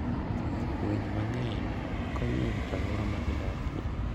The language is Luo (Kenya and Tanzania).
Winy mang'eny konyo e rito alwora ma gidakie.